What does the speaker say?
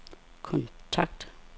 kontakt